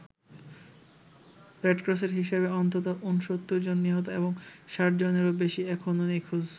রেডক্রসের হিসেবে, অন্তত ঊনসত্তর জন নিহত এবং ষাট জনেরও বেশি এখনও নিখোঁজ।